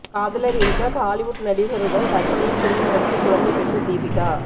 காதலர் இருக்க ஹாலிவுட் நடிகருடன் கற்பனையில் குடும்பம் நடத்தி குழந்தை பெற்ற தீபிகா